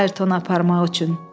Ayertonu aparmaq üçün.